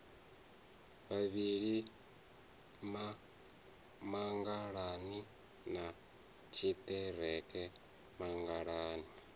vhavhili mangalani na tshiḓereke mangalani